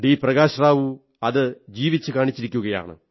പ്രകാശ്റാവു അതു ജീവിച്ചു കാണിച്ചിരിക്കയാണ്